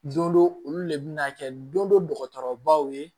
Don dɔ olu le bɛ na kɛ don dɔ dɔgɔtɔrɔbaw ye